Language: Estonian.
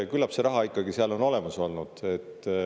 Küllap see raha ikkagi seal on olemas olnud.